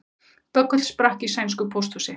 Böggull sprakk í sænsku pósthúsi